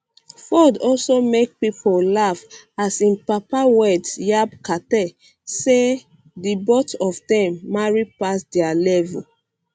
um ford also make pipo laugh as im papa words yab carter say di both of um dem marry pass dia dia level